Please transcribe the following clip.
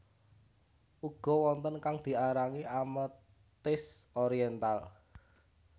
Uga wonten kang diarani ametis orièntal